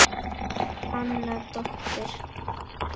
Anna dóttir